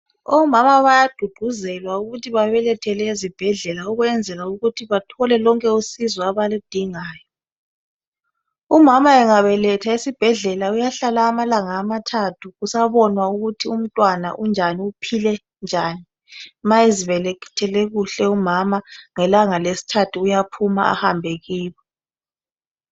Omama bayaduduzelwa ukuthi babelethele ezibhedlela ukwenzela ukuthi bathole lonke usizo abalindingayo. Umama engabeletha esibhedlela uyahlala amalanga amathathu kusabonwa ukuthi umntwana unjani uphile njani. Ma ezibelethele kuhle umama ngelanga lesithathu uyaphuma ahambe kibo.